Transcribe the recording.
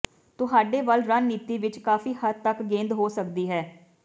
ਤੁਹਾਡੇ ਵੱਲ ਰਣਨੀਤੀ ਵਿਚ ਕਾਫੀ ਹੱਦ ਤਕ ਗੇਂਦ ਹੋ ਸਕਦੀ ਹੈ